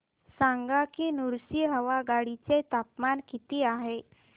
सांगा की नृसिंहवाडी चे तापमान किती आहे